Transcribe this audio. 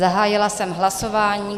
Zahájila jsem hlasování.